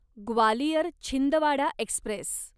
Gwalior Chhindwara Express